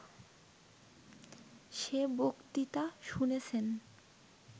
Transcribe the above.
সে বক্তৃতা শুনেছেন